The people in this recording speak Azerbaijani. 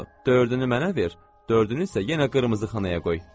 Dördünü mənə ver, dördünü isə yenə qırmızı xanaya qoy.